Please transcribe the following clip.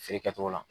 Feere kɛcogo la